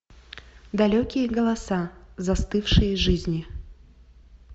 далекие голоса застывшие жизни